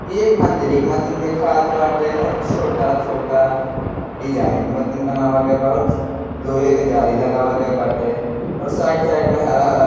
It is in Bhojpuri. एक मंदिर मथीन दिखात बाटे और छोटा-छोटा डिज़ाइन माथिन बनावा गवा बा और लोहे के जाली लगवा गया बाटे और साइड साइड में हरा हरा --